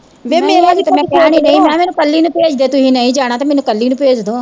ਮੈਨੂੰ ਕੱਲੀ ਨੂੰ ਭੇਜਦੋ ਜੇ ਤੁਸੀਂ ਣਾਈ ਜਾਣਾ ਮੈਨੂੰ ਕੱਲੀ ਨੂੰ ਭੇਜਦੋ